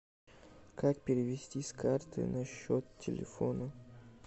как перевести с карты на счет телефона